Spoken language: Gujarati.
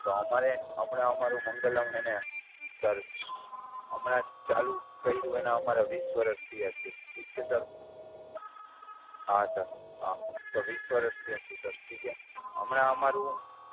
તો અમારે હમણાં અમારું મંગલમ હેને સર હમણાં જ ચાલુ કર્યું અને અમારા વીસ વર્ષથી આ છે ઠીક છે સર. હા સર. હા તો વીસ વર્ષથી આ છે સર ઠીક છે. હમણાં અમારું